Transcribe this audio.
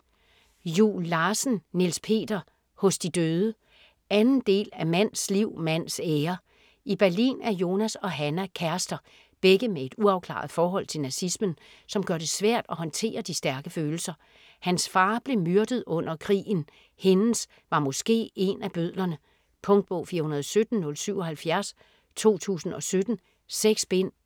Juel Larsen, Niels Peter: Hos de døde 2. del af Mands liv, mands ære. I Berlin er Jonas og Hannah kærester - begge med et uafklaret forhold til nazismen, som gør det svært at håndtere de stærke følelser. Hans far blev myrdet under krigen, hendes var måske én af bødlerne. Punktbog 417077 2017. 6 bind.